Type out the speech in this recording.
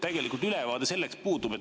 Tegelikult ülevaade sellest puudub.